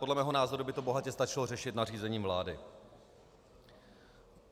Podle mého názoru by to bohatě stačilo řešit nařízením vlády.